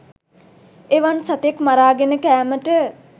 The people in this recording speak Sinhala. එවන් සතෙක් මරාගෙන කෑමට